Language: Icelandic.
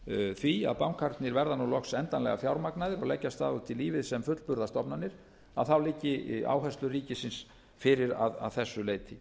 því að bankarnir verða loks endanlega fjármagnaðar og leggja af stað út í lífið sem fullburða stofnanir þá liggi áherslur ríkisins fyrir að þessu leyti